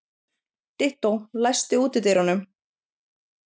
Dittó, læstu útidyrunum.